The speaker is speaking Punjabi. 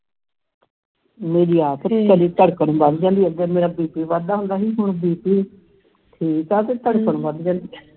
ਮੇਰੀ ਆਪ ਕਦੀ ਧੜਕਨ ਵੱਧ ਜਾਂਦੀ ਹੈ ਅੱਗੇ ਮੇਰਾ bp ਵਗਦਾ ਹੁੰਦਾ ਸੀ ਹੁਣ bp ਠੀਕ ਆ ਤੇ ਧੜਕਨ ਵਧ ਜਾਂਦੀ ਹੈ